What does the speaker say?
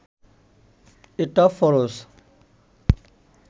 এটা ফরজ